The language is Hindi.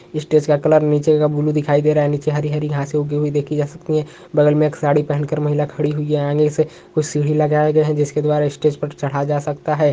स्टेज का कलर नीचे का ब्लू दिखाई दे रहा है नीचे हरी हरी घास उगी हुई देखी जा सकती है बगल में एक साड़ी पहन कर महिला खड़ी हुई है आगे से कुछ सीढ़ी लगाया गया है जिसके द्वारा स्टेज पर चढ़ा जा सकता हैं।